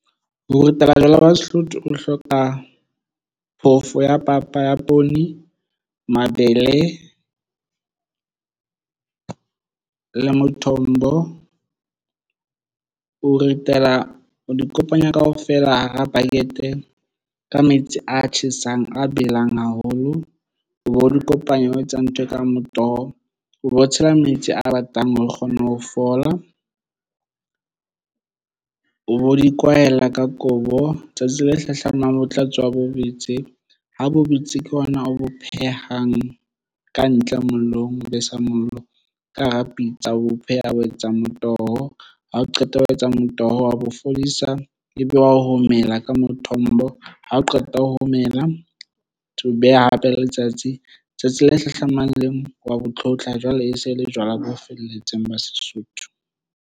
Ho ritela jwala ba Sesotho o hloka phofo ya papa ya poone, mabele le mathombo o ritela o di kopanya kaofela hara bucket ka metsi a tjhesang a belang haholo o bo di kopanya o etsa ntho e ka motoho o be o tshela metsi a batlang hore o kgone ho fola o di kwaela ka kobo tsatsi le hlahlamang ho tla tswa ho boetse ho bo betse ke hona o bo phehang ka ntle mollong o besa mollo ka hara pitsa o pheha o etsa motoho. Ha o qeta ho etsa motoho wa bo fodisa ebe wa ho homela ka mothombo ha o qeta ho homela ho beha hape letsatsi tsatsi le hlahlamang le wa bo tlhotlha jwale e se le jwala bo felletseng ba Sesotho.